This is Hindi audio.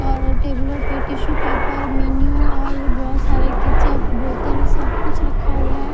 और टेबलो पे टिसू पपेर मिनीयु और बोहोत सारे केचप बोतल सब कुछ रखा हुआ है।